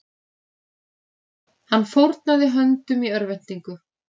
Hann fórnaði höndum í örvæntingu